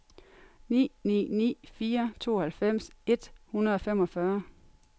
ni ni ni fire tooghalvfems et hundrede og femogfyrre